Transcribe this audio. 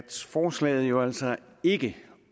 forslaget jo altså ikke